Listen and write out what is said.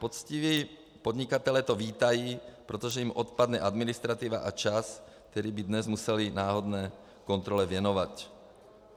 Poctiví podnikatelé to vítají, protože jim odpadne administrativa a čas, který by dnes museli náhodné kontrole věnovat.